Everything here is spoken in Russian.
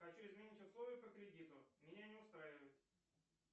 хочу изменить условия по кредиту меня не устраивает